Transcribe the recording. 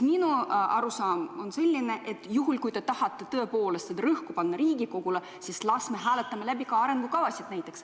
Minu arusaam on selline, et juhul, kui te tahate tõepoolest rõhku panna Riigikogule, siis las me hääletame läbi ka arengukavasid näiteks.